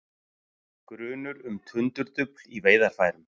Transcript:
Grunur um tundurdufl í veiðarfærum